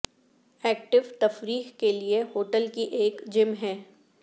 active تفریح کے لئے ہوٹل کی ایک جم ہے